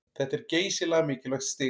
Þetta er geysilega mikilvægt stig